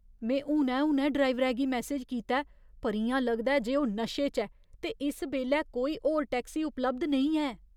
में हुनै हुनै ड्राइवरै गी मैसेज कीता ऐ पर इ'यां लगदा ऐ जे ओह् नशे च ऐ ते इस बेल्लै कोई होर टैक्सी उपलब्ध नेईं ऐ।